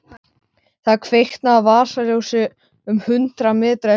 Það kviknaði á vasaljósi um hundrað metra í burtu.